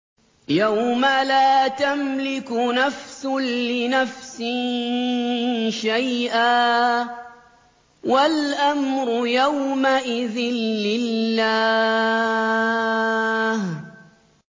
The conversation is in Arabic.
يَوْمَ لَا تَمْلِكُ نَفْسٌ لِّنَفْسٍ شَيْئًا ۖ وَالْأَمْرُ يَوْمَئِذٍ لِّلَّهِ